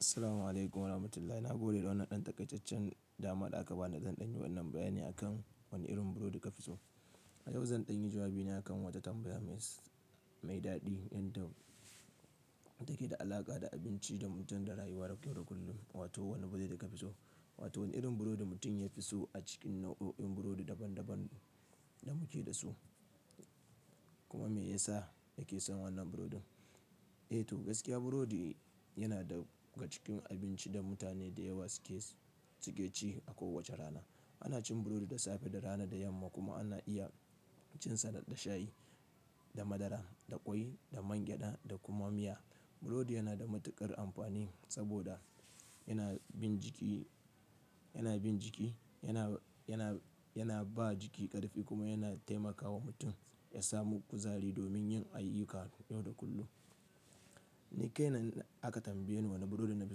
Assalamu alaykum warahmatullahi. Na gode da wannan ɗan takaice-cen dama da aka ba ni. Zan ɗanyi wannan bayan ne akan wani irin burodi ka fi so. A yau zan ɗanyi jawabi ne akan wata tambaya mai daɗi. Yanda take da alaƙa da abinci da mutum da rayuwa da kyau da kullum. Wato wane burodi ka fi so? Wato wane irin burodi mutum ya fi so a cikin nau'o'in burodi daban-daban da muke da su? Kuma me yasa yake son wannan burodin? Eh to, gaskiya burodi yana daga cikin abinci da mutane da yawa suke ci a kowace rana. Ana cin burodi da safe, da rana, da yamma kuma ana iya cinsa da shayi, da madara, da ƙwai, da mangyaɗa, da kuma miya. Burodi yana da matuƙar amfani saboda yana bin jiki, yana ba jiki ƙarfi kuma yana taimakawa mutum ya samu kuzari domin yin ayyuka yau da kullum. Ni kai na aka tambaye ni wane burodi na fi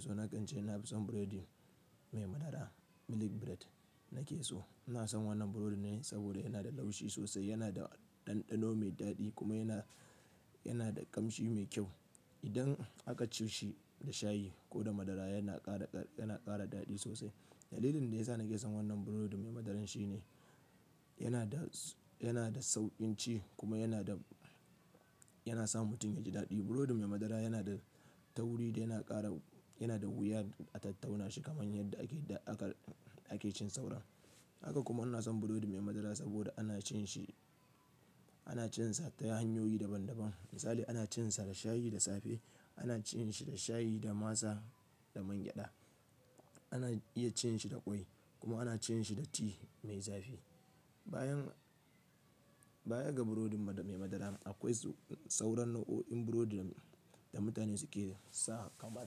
so. Na ƙance na fi son burodi mai madara, "milk bread" nake so. Ina son wannan burodi ne saboda yana da laushi sosai, yana da ɗanɗano mai daɗi kuma yana, yana da ƙamshi mai kyau. Idan aka ci shi da shayi ko da madara yana ƙara daɗi sosai. Dalilin da ya sa nake son wannan burodi mai madaran shine, yana da sauƙin ci kuma yana da, yana sa mutum yaji daɗi. Burodi mai madara yana da tauwuri da yana ƙara, yana da wuya a tattauna shi kamar yadda ake cin saura. Haka kuma ina son burodi mai madara saboda ana cin shi, ana cinsa ta hanyoyi daban-daban. Misali ana cinsa da shayi da safe, ana cin shi da shayi, da masa, da mangyaɗa. Ana iya cin shi da ƙwai kuma ana cin shi da ti mai zafi. Bayan, bayan ga burodin mai madara akwai sauran nau'o'in burodi da mutane suke sa kamar,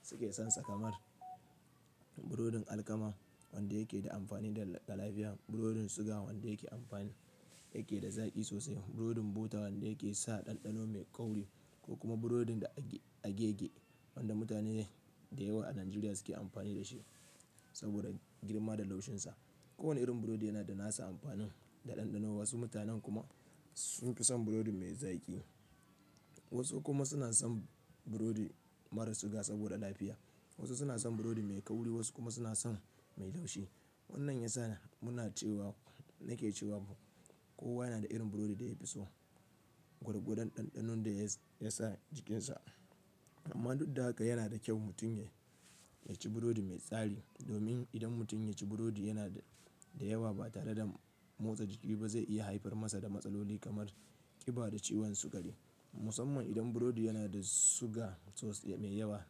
suke son sa kamar burodin alkama wanda yake da amfani ga lafiya. Burodin suga wanda yake da zaƙi sosai. Burodin bota wanda yake sa ɗanɗano mai kauri ko kuma burodin agege wanda mutane da yawa a Najeriya suke amfani da shi saboda girma da laushinsa. Kowane irin burodi yana da nasa amfanin da ɗanɗano. Wasu mutanen kuma sun fi son burodi mai zaƙi. Wasu kuma suna son burodi marar suga saboda lafiya. Wasu suna son burodi mai kauri wasu kuma suna son mai laushi. Wannan yasa muna cewa, nake cewa kowa yana da irin burodi da ya fi so. Gwargwadon ɗanɗanon da ya sa jikinsa. Amma duk da haka yana da kyau mutum ya ci burodi mai tsari. Domin idan mutum ya ci burodi yana da yawa ba tare da motsa jiki ba zai iya haifar masa da matsaloli kamar ƙiba da ciwon sukari. Musamman idan burodi yana da suga sosai, mai yawa.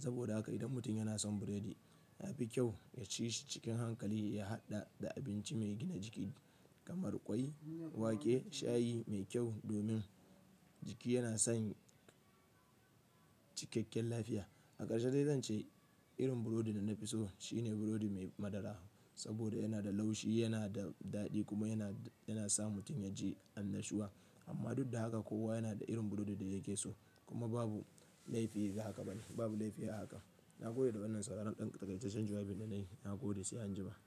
Saboda haka idan mutum yana son burodi, yafi kyau ya ci shi cikin hankali ya haɗa da abinci mai gina jiki kamar ƙwai, wake, shayi mai kyau domin jiki yana son cikakken lafiya. A ƙarshe dai zan ce irin burodi da na fi so shine burodi mai madara saboda yana da laushi, yana da daɗi kuma yana sa mutum yaji annashuwa. Amma duk da haka kowa yana da irin burodi da yake so. Kuma babu laifi a haka bane, babu laifi a haka. Na gode da wannan sauran ɗan takaice-cen jawabi da nayi. Na gode sai anjima.